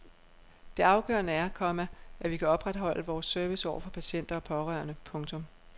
Det afgørende er, komma at vi kan opretholde vores service over for patienter og pårørende. punktum